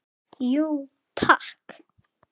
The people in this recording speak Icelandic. Jú takk